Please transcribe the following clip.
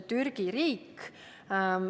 Türgi riik.